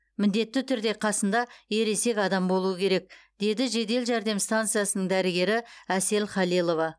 міндетті түрде қасында ересек адам болуы керек деді жедел жәрдем стансасының дәрігері әсел халилова